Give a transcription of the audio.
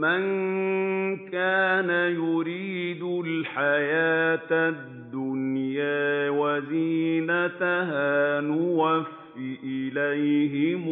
مَن كَانَ يُرِيدُ الْحَيَاةَ الدُّنْيَا وَزِينَتَهَا نُوَفِّ إِلَيْهِمْ